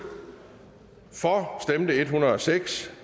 for stemte en hundrede og seks